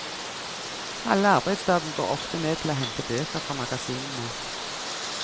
Halve arbeidsdagen går ofte med til å hente bøker fra magasinene.